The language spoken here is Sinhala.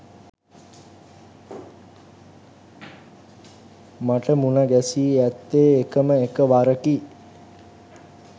මට මුණ ගැසී ඇත්තේ එකම එක වරකි.